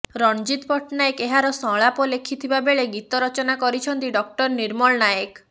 ରଣଜିତ୍ ପଟ୍ଟନାୟକ ଏହାର ସଂଳାପ ଲେଖିଥିବା ବେଳେ ଗୀତ ରଚନା କରିଛନ୍ତି ଡ଼ ନିର୍ମଳ ନାୟକ